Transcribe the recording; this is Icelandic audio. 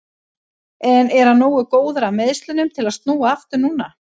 En er hann nógu góður af meiðslunum til að snúa aftur núna?